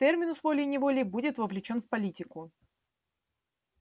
терминус волей-неволей будет вовлечён в политику